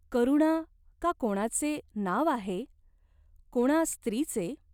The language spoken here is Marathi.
करुणा का कोणाचे नाव आहे ? कोणा स्त्रीचे ?